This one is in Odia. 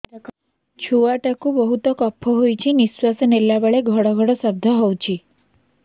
ଛୁଆ ଟା କୁ ବହୁତ କଫ ହୋଇଛି ନିଶ୍ୱାସ ନେଲା ବେଳେ ଘଡ ଘଡ ଶବ୍ଦ ହଉଛି